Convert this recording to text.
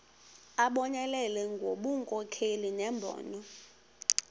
abonelele ngobunkokheli nembono